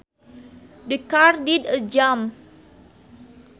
The car did a jump